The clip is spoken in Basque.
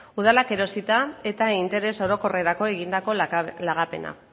udalak erosita eta interes orokorrerako egindako lagapena